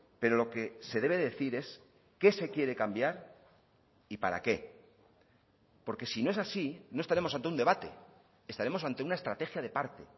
pero lo que se debe decir es qué se quiere cambiar y para qué porque si no es así no estaremos ante un debate estaremos ante una estrategia de parte